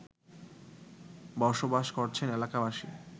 বসবাস করছেন এলাকাবাসী